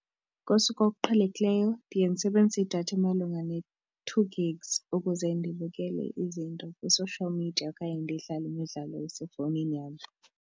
Ngosuku oluqhelekileyo ndiye ndisebenzise idatha emalunga ne-two gig ukuze ndibukele izinto kwi-social media okanye ndidlale imidlalo esefowunini yam.